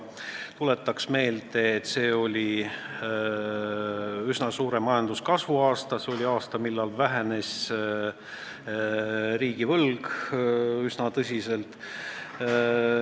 Tuletan meelde, et see oli üsna suure majanduskasvu aasta, see oli aasta, millal riigivõlg vähenes üsna tõsiselt.